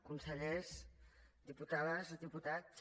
consellers diputades diputats